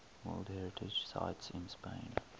world heritage sites in spain